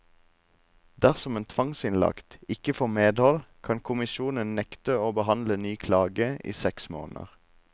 Dersom en tvangsinnlagt ikke får medhold, kan kommisjonen nekte å behandle ny klage i seks måneder.